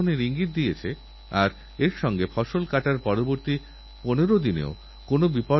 আমারপ্রিয় দেশবাসী আজ সমগ্র পৃথিবী ঋতু পরিবর্তন বিশ্ব উষ্ণায়ণ পরিবেশ নিয়ে বিশেষভাবে চিন্তাগ্রস্ত